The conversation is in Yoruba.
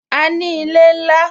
A ní ilé ńlá